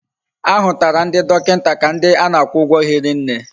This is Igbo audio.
Ahutara ndi dokinta ka ndi ana akwu ugwo hiri nne